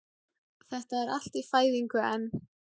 Þetta er allt í fæðingu enn